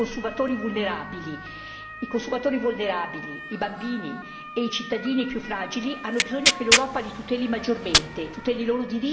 I consumatori vulnerabili, i bambini e i cittadini più fragili hanno bisogno che l'Europa li tuteli maggiormente, tuteli i loro diritti anche preventivamente.